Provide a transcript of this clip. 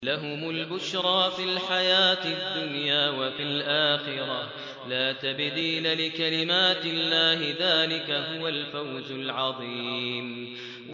لَهُمُ الْبُشْرَىٰ فِي الْحَيَاةِ الدُّنْيَا وَفِي الْآخِرَةِ ۚ لَا تَبْدِيلَ لِكَلِمَاتِ اللَّهِ ۚ ذَٰلِكَ هُوَ الْفَوْزُ الْعَظِيمُ